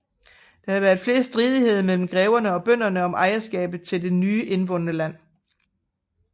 Der har været flere stridigheder mellem greverne og bønderne om ejerskabet til det nye indvundne land